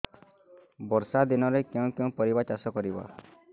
ବର୍ଷା ଦିନରେ କେଉଁ କେଉଁ ପରିବା ଚାଷ କରିବା